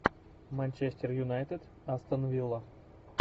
манчестер юнайтед астон вилла